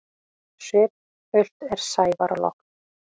Svipult er sævar logn.